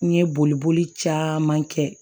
N ye boliboli caman kɛ